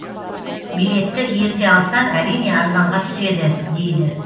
билетті ерте алсаң әрине арзанға түседі дейді